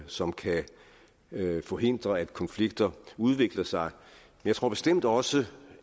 som kan forhindre at konflikter udvikler sig jeg tror bestemt også